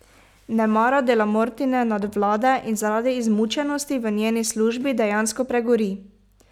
Ne mara Dellamortine nadvlade in zaradi izmučenosti v njeni službi dejansko pregori!